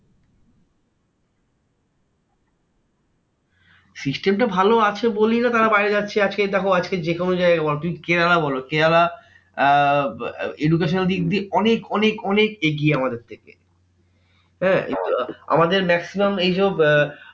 System টা ভালো আছে বলেই তারা বাইরে না যাচ্ছে আজকে দেখো আজকে যেকোনো জায়গায় বলো না তুমি কেরালা বলো কেরালা আহ education এর দিক দিয়ে অনেক অনেক অনেক এগিয়ে আমাদের থেকে। হ্যাঁ এগুলো আমাদের maximum এইজো আহ